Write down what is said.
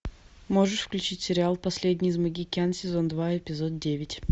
можешь включить сериал последний из магикян сезон два эпизод девять